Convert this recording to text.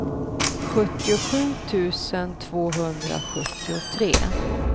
sjuttiosju tusen tvåhundrasjuttiotre